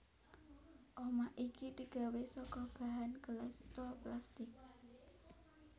Omah iki digawé saka bahan gelas utawa plastik